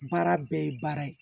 Baara bɛɛ ye baara ye